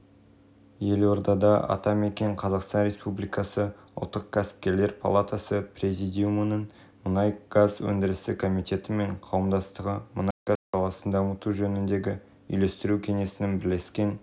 бернар казнвке келетін болсақ ол франсуа олландтың сенімді жақтастарының бірі ол жылдан бастап үкіметте лауазымды қызметтерді атқарып жылдан бері ішкі істер